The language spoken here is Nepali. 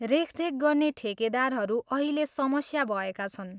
रेखदेख गर्ने ठेकेदारहरू अहिले समस्या भएका छन्।